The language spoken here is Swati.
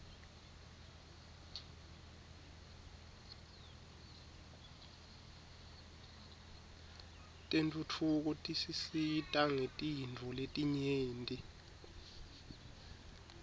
tentfutfuko tisisita ngetintfo letinyenti